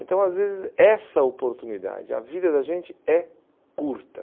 Então, às vezes, essa oportunidade, a vida da gente é curta.